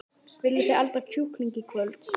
Viljiði elda kjúkling í kvöld?